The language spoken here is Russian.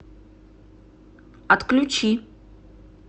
отключи